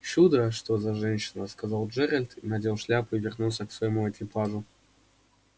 чудо что за женщина сказал джералбд и надел шляпу и вернулся к своему экипажу